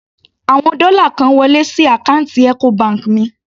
Àwọn dọ́là kan wọlé sí àkáǹtì Ecobank mi.